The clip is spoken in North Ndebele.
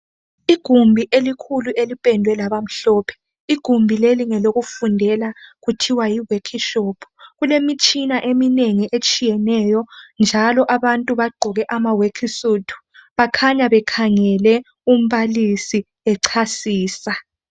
Igumbi elikhulu elipendwe labamhlophe. Igumbi leli ngelokufundela kuthiwa yiwekhishopu. Kulemitshina eminengi etshiyeneyo njalo abantu bagqoke amaworksuit bakhanya bekhangele umbalisi echasisa.